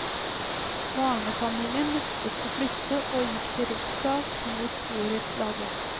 Barnefamilien nektet å flytte og gikk til rettssak mot borettslaget.